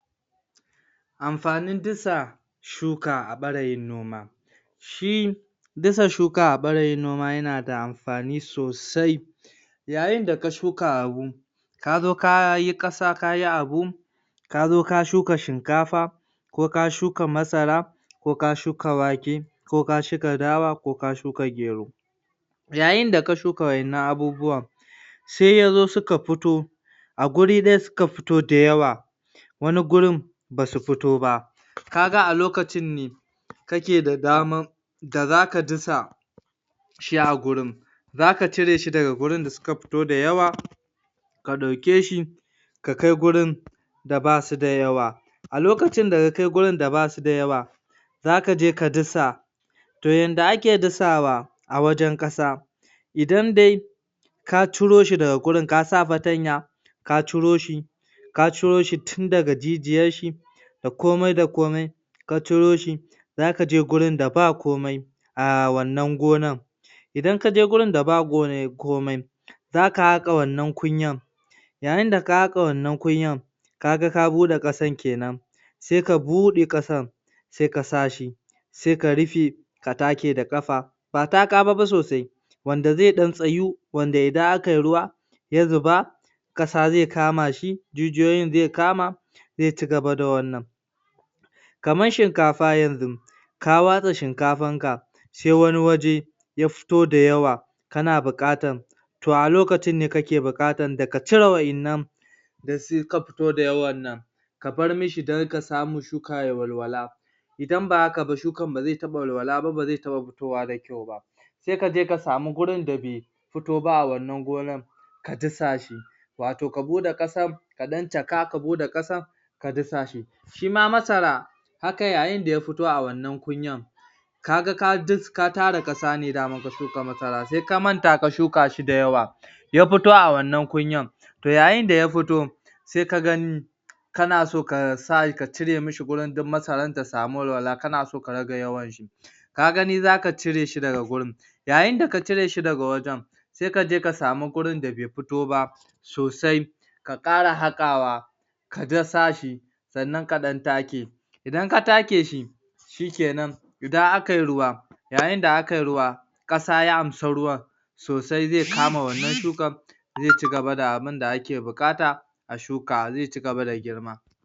Amfanin dasa a ɓarayin noma. Shi dasa shuka a ɓarayin noma yana da afani sosai yayin da ka shuka abu kazo ka yi ƙasa kayi abu, ka zo ka shuka shinkafa ko ka shuka masara, ko ka shuka wake ko ka shuka dawa da ko ka shuka gero. Yayin da ka shuka wa'yannan abubuwan sai ya o su ka fito, a guri ɗaya suka fito da yawa, wani gurin ba su fito ba ka ga a lokacin ne ka ke da damar da zaka dasa shi a gurin. Za ka cire shi daha grin da suka fito da yawa ka ɗauke shi ka kai gurin da basu da yawa. A lokacin da ka kai gurin da basu da yawa, za ka je ka dasa To yadda ake dasawa, a wajen ƙasa, idan dai ka ciro daga wurin ka sa fatanya ka ciro shi ka ciroshi tun dag jijiyarshi da komai da komai ka ciro shi za ka je wurin da ba komai a wannan gonan idan kaje wurin da ba komai, zaka haƙa wannan kunyar, yayin da ka haƙa wannankunyan kaga ka buɗe ƙasar kenan sai ka bude ƙasar, sai ka sa shi, sai ka rufe, ka take da ƙafa, ba taka ba fa sosai, wanda zai ɗan tsayu wanda idan akai ruwa ya zuba ƙasa zai kama shi, jijiyoyin zai kama, zai ci gaba da wannan Kamar shinkafa yanzu, ka watsa shinkafar ka sai wani waje ya fito da yawa, kana buƙatar to a lokacin ne kake buƙatar ka cire wa'iinnan da suka fito da yawan nan kabar musu iska ya dinga walwala, idan ba hka ba, shukar ba zai taɓa walwala ba ba zai taɓa fitowa da kyau ba. Saika je ka sami wurin da bai fito ba a wannan gonan ka dasa shi. Wato ka buɗe ƙasa, ka lan caka ka buɗe ƙasa ka dasa shi. Shima masara, haka yayin da ya fito a wannan kunyan, ka ga ka tara ƙasa ne daman ka shuka masara, sai ka manta ka shuka shi da yawa ya fito a wannan kunyan to yayin da ya fito sai ka gani kana so ka cire mishi wurin duk masaran ta samu walwala, kana so ka rage yawanshi, ka gani za ka cire shi daga wurin, yayin da ka cire shi daga wajen, sai ka je ka sami wurin da bai fito ba sosai, ka ƙara haƙawa ka dasa shi sannan ka ɗan take shi. Idan ka take shi, shikenan idan akayi ruwa, yayin da akayu ruwa, ƙasa ya amshi ruwan sosai, zai kama wannan shukan zai ci gaba da abinda ake buƙata a shuka, zai ci gaba da girma.